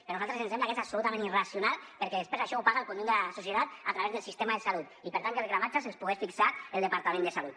per a nosaltres ens sembla que és absolutament irracional perquè després això ho paga el conjunt de la societat a través del sistema de salut i per tant que els gramatges els pogués fixar el departament de salut